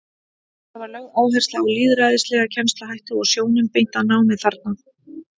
Þar var lögð áhersla á lýðræðislega kennsluhætti og sjónum beint að námi barna.